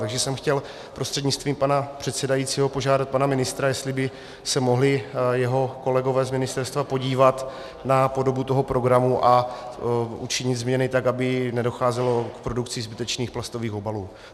Takže jsem chtěl prostřednictvím pana předsedajícího požádat pana ministra, jestli by se mohli jeho kolegové z ministerstva podívat na podobu toho programu a učinit změny tak, aby nedocházelo k produkci zbytečných plastových obalů.